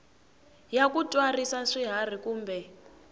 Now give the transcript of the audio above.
ya ku tswarisa swiharhi kumbe